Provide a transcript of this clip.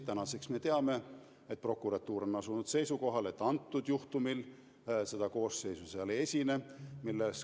Tänaseks me teame, et prokuratuur on asunud seisukohale, et antud juhtumil seda koosseisu ei esine.